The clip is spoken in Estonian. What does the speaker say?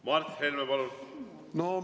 Mart Helme, palun!